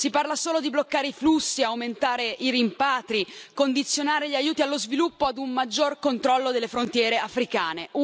Si parla solo di bloccare i flussi, aumentare i rimpatri, condizionare gli aiuti allo sviluppo a un maggior controllo delle frontiere africane.